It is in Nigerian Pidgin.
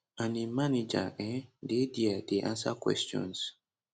and im manager um dey dia dey answer questions